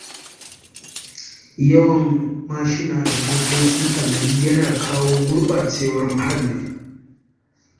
Yawan mashina da motoci a gari yana kawo gurɓacewar muhalli.